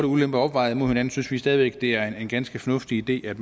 ulemper opvejet mod hinanden synes vi stadig væk at det er en ganske fornuftig idé at